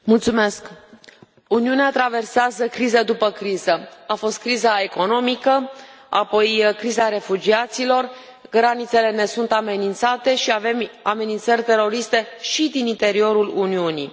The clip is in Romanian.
Doamna președintă, Uniunea traversează criză după criză. A fost criza economică, apoi criza refugiaților, granițele ne sunt amenințate și avem amenințări teroriste și din interiorul Uniunii.